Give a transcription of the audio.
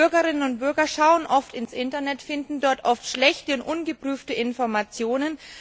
Die Bürgerinnen und Bürger schauen oft ins Internet und finden dort oft schlechte und ungeprüfte Informationen.